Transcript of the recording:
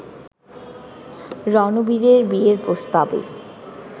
রণবীরের বিয়ের প্রস্তাবে